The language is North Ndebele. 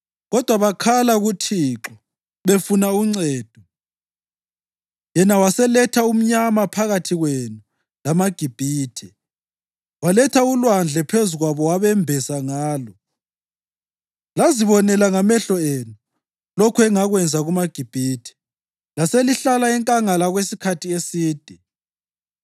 Kodwa bakhala kuThixo befuna uncedo yena waseletha umnyama phakathi kwenu lamaGibhithe; waletha ulwandle phezu kwabo wabembesa ngalo. Lazibonela ngamehlo enu lokho engakwenza kumaGibhithe. Laselihlala enkangala okwesikhathi eside.